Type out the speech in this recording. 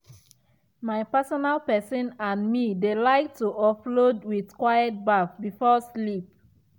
she soak her leg inside water after work um as part of way she um dey um relax for night relax for night